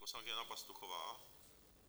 Poslankyně Jana Pastuchová?